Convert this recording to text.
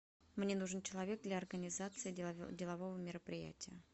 мне нужен человек для организации делового мероприятия